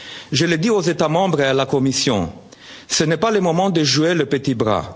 fois ci. Je l'ai dit aux États membres et à la Commission, ce n'est pas le moment de jouer les petits